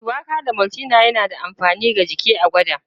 Shuwaka da maltina na da amfani ga jiki, a gwada.